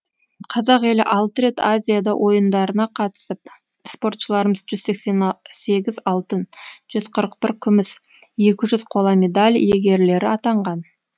қазақ елі алты рет азияда ойындарына қатысып спортшыларымыз жүз сексен сегіз алтын жүз қырық бір күміс екі жүз қола медаль иегерлері атанған